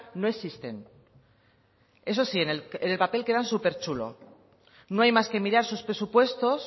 no existen eso sí en el papel queda súper chulo no hay más que mirar sus presupuestos